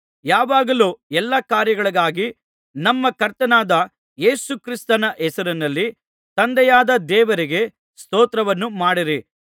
ಯಾವಾಗಲೂ ಎಲ್ಲಾ ಕಾರ್ಯಗಳಿಗಾಗಿ ನಮ್ಮ ಕರ್ತನಾದ ಯೇಸು ಕ್ರಿಸ್ತನ ಹೆಸರಿನಲ್ಲಿ ತಂದೆಯಾದ ದೇವರಿಗೆ ಸ್ತೋತ್ರವನ್ನು ಮಾಡಿರಿ